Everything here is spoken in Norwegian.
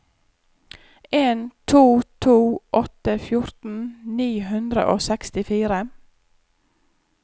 en to to åtte fjorten ni hundre og sekstifire